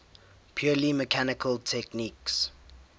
purely mechanical techniques